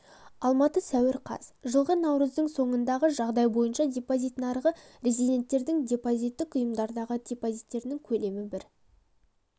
алматы сәуір қаз жылғы наурыздың соңындағы жағдай бойынша депозит нарығы резиденттердің депозиттік ұйымдардағы депозиттерінің көлемі бір